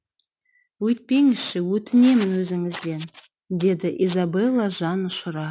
өйтпеңізші өтінемін өзіңізден деді изабелла жан ұшыра